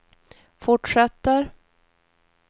fortsätter